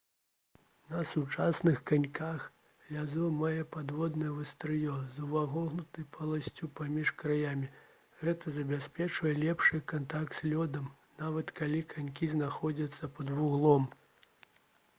на сучасных каньках лязо мае падвойнае вастрыё з увагнутай поласцю паміж краямі гэта забяспечвае лепшы кантакт з лёдам нават калі канькі знаходзяцца пад вуглом